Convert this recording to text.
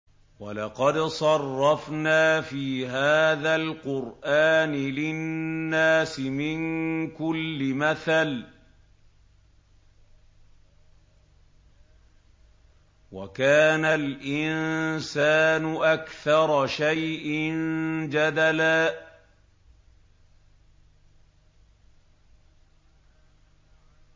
وَلَقَدْ صَرَّفْنَا فِي هَٰذَا الْقُرْآنِ لِلنَّاسِ مِن كُلِّ مَثَلٍ ۚ وَكَانَ الْإِنسَانُ أَكْثَرَ شَيْءٍ جَدَلًا